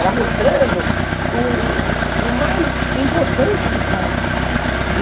Era mostrando o o o o mais importante, de fato.